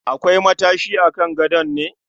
Akwai matashi a kan gadon ne?